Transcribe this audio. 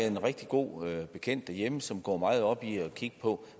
en rigtig god bekendt derhjemme som går meget op i at kigge på